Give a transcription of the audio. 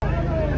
Allah!